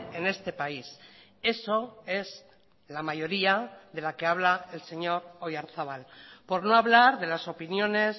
en este país eso es la mayoría de la que habla el señor oyarzabal por no hablar de las opiniones